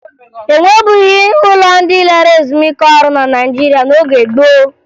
E nwebughi ụlọ ndị lara ezumike ọrụ na Naịjirịa n'oge gboo